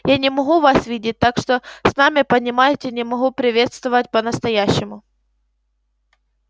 я не могу вас видеть так что сами понимаете не могу приветствовать по-настоящему